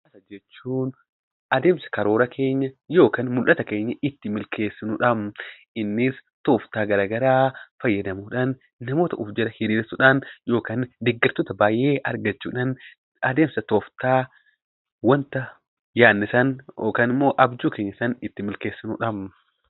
Siyaasni adeemsa mul'ata keenya ittiin milkaneessinudha. Innis tooftaa garaagaraa fayyadamuudhaan namoota of jala horiirsuudhaan yookaan deeggartoota baay'ee argachuudhaan adeemsa tooftaa wanta yaadne sana itti milkeessinudha.